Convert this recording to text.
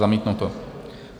Zamítnuto.